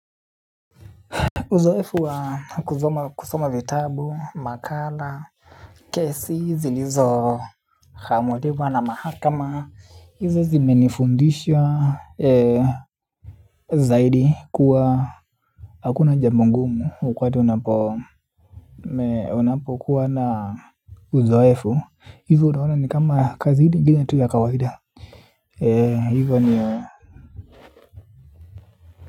Uzoefu wa kuzoma kusoma vitabu makala. Kesi zilizo khamuliwa na mahakama. Izo zimenifundisha zaidi kuwa hakuna jambo ngumu wakwati unapo meona po kuwa na uzoefu hivo unaona ni kama kazi hini gine tu ya kawaida hivo ni ya.